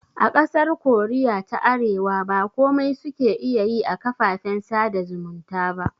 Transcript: A ƙasar koriya ta arewa ba komai suke iya yi a kafafen sada zumunta ba